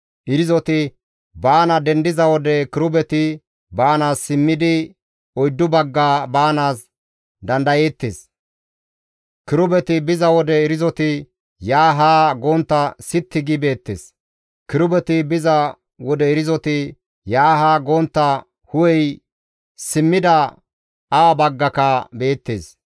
Irzoti baana dendiza wode kirubeti baanaas simmidi oyddu bagga baanaas dandayeettes; kirubeti biza wode irzoti yaanne haa gontta sitti gi beettes. Kirubeti biza wode irzoti yaanne haa gontta hu7ey simmida awa baggaka beettes.